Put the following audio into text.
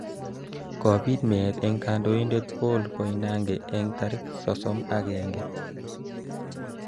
Kibit meet eng kandoindet Paul Koinange eng tarik sosom akenge.